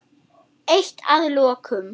Eitt að lokum.